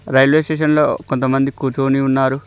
Railway స్టేషన్లో కొంతమంది కు ఉన్నారు.